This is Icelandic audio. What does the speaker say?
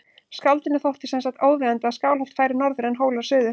Skáldinu þótti sem sagt óviðeigandi að Skálholt færi norður en Hólar suður.